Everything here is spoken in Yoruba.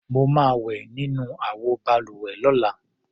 Mo máa wẹ̀ nínú àwọ balùwẹ̀ lọ́la.